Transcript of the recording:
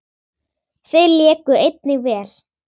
Þeir léku einnig vel.